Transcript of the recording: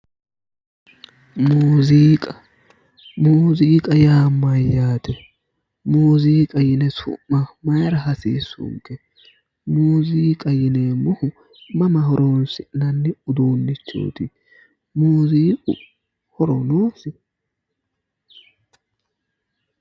muziiqa, muziiq yaa mayyate? muuziiqa yine su'ma mayra hasiissunke? muziiqa yineemmohu mama horoonsi'nanni udiinnichooti? muziiqu horo noosi?